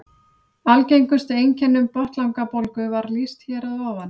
Algengustu einkennum botnlangabólgu var lýst hér að ofan.